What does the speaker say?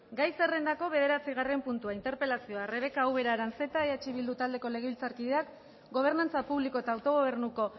gai zerrendako bederatzigarren puntua interpelazioa rebeka ubera aranzeta eh bildu taldeko legebiltzarkideak gobernantza publiko eta autogobernuko